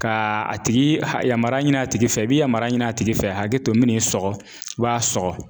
Ka a tigi yamaruya ɲini a tigi fɛ i be yamaruya ɲini a tigi fɛ hakɛ to n min n'i sɔgɔ i b'a sɔgɔ